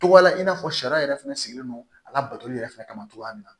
Togoya la i n'a fɔ sariya yɛrɛ fɛnɛ sigilen don a labato yɛrɛ fɛnɛ kama cogoya min na